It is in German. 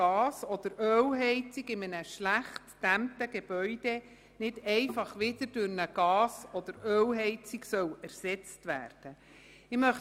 Gas- oder Ölheizung in einem schlecht gedämmten Gebäude nicht einfach wieder durch eine Gas- oder Ölheizung ersetzt werden soll.